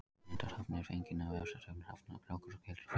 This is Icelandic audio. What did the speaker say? Mynd af hrafni er fengin af vefsetri um hrafna, krákur og skyldra fugla.